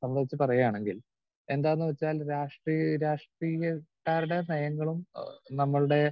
speaker 2 സംബന്ധിച്ച് പറയുകയാണെങ്കിൽ എന്താന്ന് വെച്ചാൽ രാഷ്ട്രീ രാഷ്ട്രീയക്കാരുടെ നയങ്ങളും ആഹ് നമ്മളുടെ